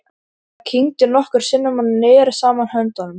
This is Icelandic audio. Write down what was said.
Hann kyngdi nokkrum sinnum og neri saman höndunum.